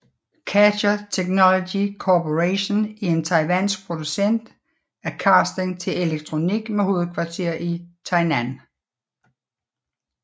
Catcher Technology Corporation er en taiwansk producent af casing til elektronik med hovedkvarter i Tainan